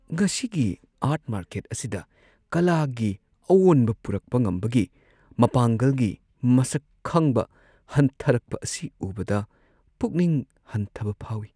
ꯉꯁꯤꯒꯤ art market ꯑꯁꯤꯗ ꯀꯥꯂꯥꯒꯤ ꯑꯑꯣꯟꯕ ꯄꯨꯔꯛꯄ ꯉꯝꯕꯒꯤ ꯃꯄꯥꯡꯒꯜꯒꯤ ꯃꯁꯛ ꯈꯪꯕ ꯍꯟꯊꯔꯛꯄ ꯑꯁꯤ ꯎꯕꯗ ꯄꯨꯛꯅꯤꯡ ꯍꯟꯊꯕ ꯐꯥꯎꯏ꯫